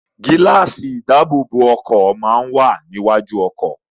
Gíláàsì ìdáàbòbọ̀ ọkọ̀ máa ń wà ní iwájú ọkọ̀.